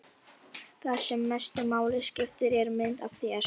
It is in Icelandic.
Það sem mestu máli skiptir er mynd af þér.